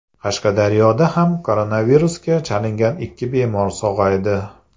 Qashqadaryoda ham koronavirusga chalingan ikki bemor sog‘aydi.